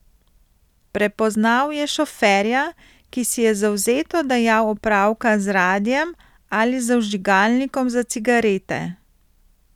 Prepoznal je šoferja, ki si je zavzeto dajal opravka z radiem ali z vžigalnikom za cigarete.